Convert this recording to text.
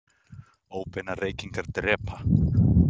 Óbeinar reykingar drepa